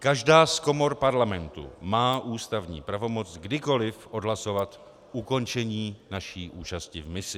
Každá z komor Parlamentu má ústavní pravomoc kdykoli odhlasovat ukončení naší účasti v misi.